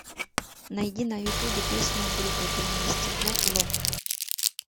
найди на ютубе песню группы время и стекло лох